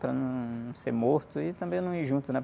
Para não ser morto e também não ir junto, né?